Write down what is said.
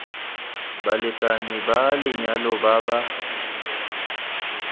balekane ba lenyalo ba ba